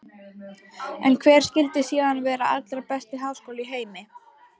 En hver skyldi síðan vera allra besti háskóli í heimi?